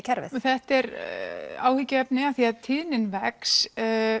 kerfið þetta er áhyggjuefni af því að tíðnin vex